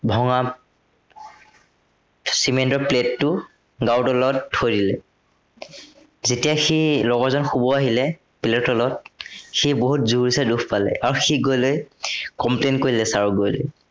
ভঙা cement ৰ plate টো গাৰুৰ তলত থৈ দিলে। যেতিয়া সেই লগৰজন শুব আহিলে, plate ৰ তলত সি বহুত জোৰচে দুখ পালে আৰু সি গৈ লৈ complain কৰিলে sir ক গৈ লৈ।